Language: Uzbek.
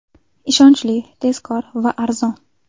Ishonchli, tezkor va arzon!